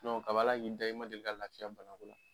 kabi Ala k'i da, i ma deli ka lafiya bana bolo